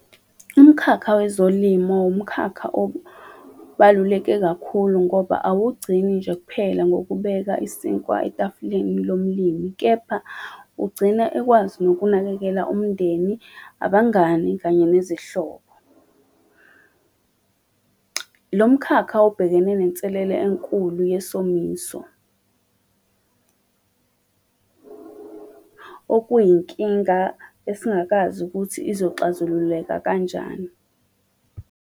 Umkhakha wezolimo, wumkhakha obaluleke kakhulu ngoba awugcini nje kuphela ngokubeka isinkwa etafuleni lomlimi, kepha ugcina ekwazi nokunakekela umndeni, abangani, kanye nezihlobo . Lo mkhakha ubhekene nenselelo enkulu yesomiso , okuyinkinga esingakazi ukuthi izoxazululeka kanjani.